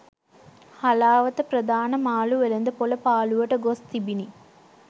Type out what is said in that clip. හලාවත ප්‍රධාන මාළු වෙළද පොළ පාලුවට ගොස් තිබිණි